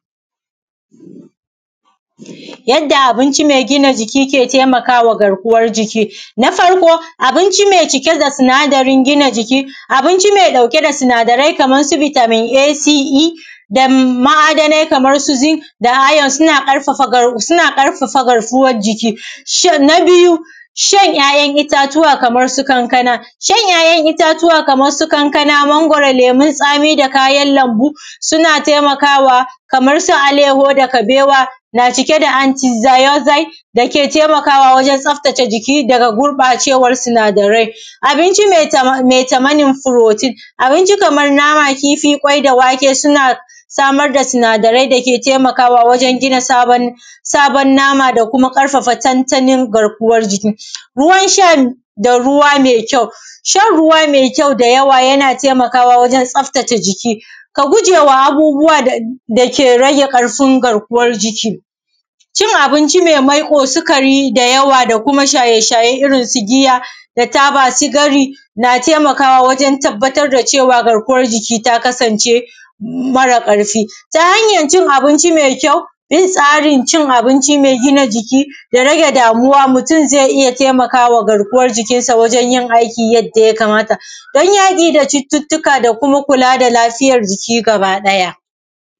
yadda abinci mai gina jiki ke taimakawa garkuwan jiki na farko abinci mai cike da sinadarin gina jiki abinci mai ɗauke da sinadari kamar su vitamin a c e da ma’adanai kamar su zinc iron suna ƙarfafa garkuwan jiki shin na biyu shan ‘ya’yan itatuwa kamar su kankana shan ‘ya’yan itatuwa kamar su kankana mangwaro lemun tsami da kayan lambu suna taimakawa kaman su alaiyahu da kabewa na cike da antidioxide da ke taimakawa wajen tsaftace jiki daga gurɓacewan sinadarai abinci mai tamanin protein abinci kaman nama kifi ƙwai da wake suna samar da sinadarai da ke taimakawa wajen gina sabon nama da kuma ƙarfafa tantanin garkuwan jiki ruwan sha da ruwa mai kyau shan ruwa mai kyau da yawa yana taimakawa wajen tsaftace jiki ka gujewa abubbuwa da ke rage ƙarfin garkuwan jiki cin abinci mai maiƙo sikari da yawa da kuma shaye shaye irin su giya da taba cigari na taimakawa wajen tabbatar da cewa garkuwan jiki ta kasance mara ƙarfi ta hanyan cin abinci mai kyau yin tsarin cin abinci mai gina jiki da rage damuwa mutum zai iya taimakawa garkuwan jikinsa wajen yin aiki yadda ya kamata don yaƙi da cututtuka da kuma kula da lafiyar jiki gaba ɗaya